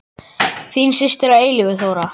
Þín systir að eilífu, Þóra.